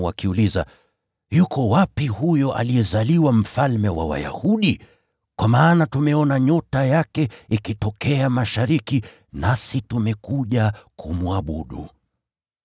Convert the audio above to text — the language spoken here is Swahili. wakiuliza, “Yuko wapi huyo aliyezaliwa mfalme wa Wayahudi? Kwa maana tumeona nyota yake ikitokea mashariki, nasi tumekuja kumwabudu.”